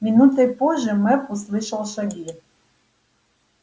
минутой позже мэп услышал шаги